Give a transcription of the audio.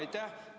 Aitäh!